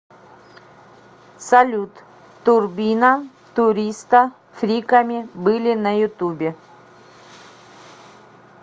салют турбина туриста фриками были на ютубе